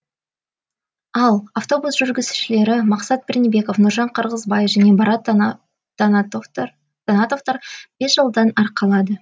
ал автобус жүргізушілері мақсат пернебеков нұржан қырғызбай және барат таңатовтар бес жылдан арқалады